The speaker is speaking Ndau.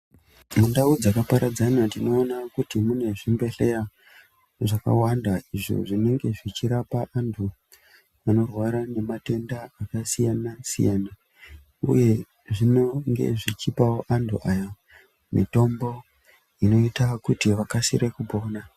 Mundau dzakaparadzana tinoona kuti mune zvibhedhleya zvakawanda, izvo zvinenge zvichirapa antu anorwara ngematenda akasiyana-siyana uye zvinenge zvichipavo antu aya mitombo inoita kuti vakasire kupona.